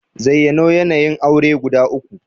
Zayyano yanayin aure guda uku?